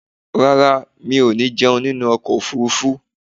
Rárá, mi ò ní jẹun nínú ọkọ̀ ofurufú.